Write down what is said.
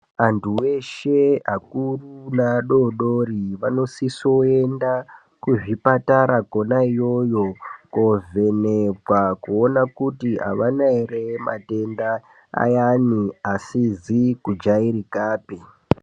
Antu eshe akuru neadodori, anosiswe kuenda kuzvipatara kona iyoyo, kovhenekwa, kuona kuti aana ere matenda ayani asizikujair ikapi.